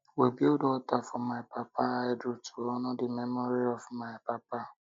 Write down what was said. we build alter for my papa idol to honour the memory of my papa